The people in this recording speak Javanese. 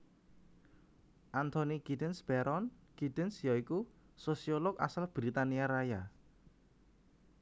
Anthony Giddens Baron Giddens ya iku sosiolog asal Britania Raya